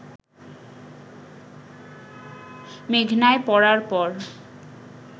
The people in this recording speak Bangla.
মেঘনায় পড়ার পর